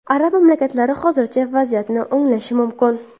Arab mamlakatlari hozircha vaziyatni o‘nglashi mumkin.